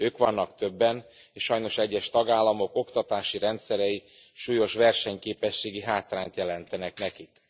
Ők vannak többen, és sajnos egyes tagállamok oktatási rendszerei súlyos versenyképességi hátrányt jelentenek nekik.